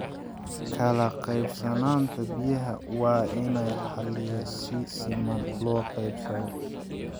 Kala qeybsanaanta biyaha waa in la xaliyo si siman loo qeybsado.